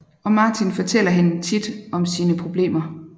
Og Martin fortæller hende tit om sine problemer